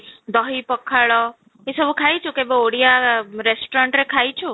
ଦହି ପଖାଳ ଏ ସବୁ ଖାଇଛୁ କେବେ ଓଡ଼ିଆ restaurant ରେ କେବେ ଖାଇଛୁ